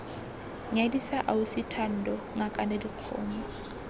nyadisa ausi thando ngakane dikgomo